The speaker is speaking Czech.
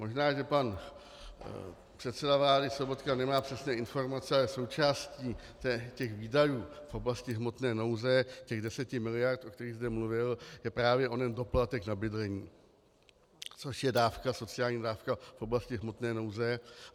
Možná že pan předseda vlády Sobotka nemá přesné informace, ale součástí těch výdajů v oblasti hmotné nouze, těch deseti miliard, o kterých zde mluvil, je právě onen doplatek na bydlení, což je dávka, sociální dávka v oblasti hmotné nouze.